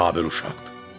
Qabil uşaqdır.